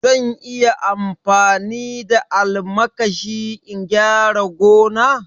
Zan iya amfani da almakashi in gyara gona?